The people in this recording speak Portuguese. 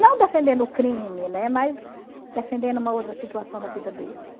Não defendendo o crime, né, mas defendendo uma outra situação da vida deles.